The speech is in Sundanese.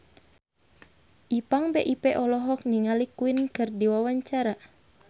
Ipank BIP olohok ningali Queen keur diwawancara